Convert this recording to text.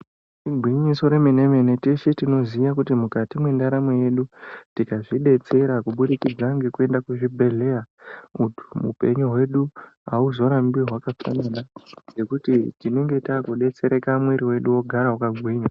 Igwinyiso remene mene, teshe tinoziye kuti mwukati mwendaramo yedu tikazvidetsera kubudikidza ngekuenda kuzvibhedhleya, upenyu hwedu hauzorambi hwakakonyana ngekuti tinenge takudetsereka mwiri wedu wogara yakagwinya.